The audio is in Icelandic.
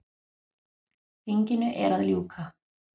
Þinginu er að ljúka.